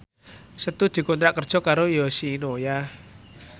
Setu dikontrak kerja karo Yoshinoya